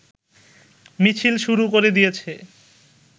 মিছিল শুরু করে দিয়েছে